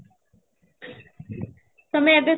ତମେ ଏବେ